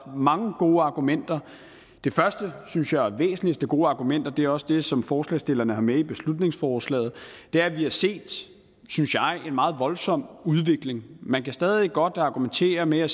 mange gode argumenter det første og synes jeg væsentligste gode argument og det er også det som forslagsstillerne har med i beslutningsforslaget er at vi har set en meget voldsom udvikling man kan stadig godt argumentere med at